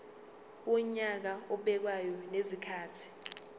wonyaka obekwayo ngezikhathi